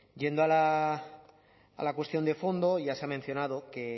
yendo a la cuestión de fondo y ya se ha mencionado que